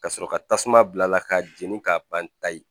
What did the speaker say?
Ka sɔrɔ ka tasuma bila a la k'a jeni k'a ban ta ye